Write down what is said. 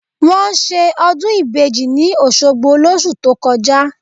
Wọ́n ṣe ọdún ìbejì ní Òṣogbo lóṣù tó kọjá